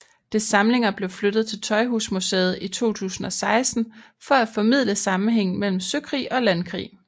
Dets samlinger blev flyttet til Tøjhusmuseet i 2016 for at formidle sammenhængen mellem søkrig og landkrig